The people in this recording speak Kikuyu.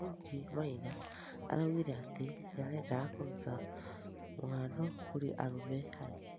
Daũdi Maina araũgĩre atĩ nĩarendaga kũrũta mũhano kũrĩ arũme angĩ